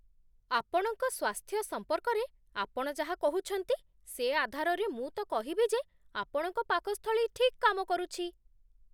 ଆପଣଙ୍କ ସ୍ୱାସ୍ଥ୍ୟ ସମ୍ପର୍କରେ ଆପଣ ଯାହା କହୁଛନ୍ତି, ସେ ଆଧାରରେ ମୁଁ ତ କହିବି ଯେ ଆପଣଙ୍କ ପାକସ୍ଥଳୀ ଠିକ୍ କାମ କରୁଛି।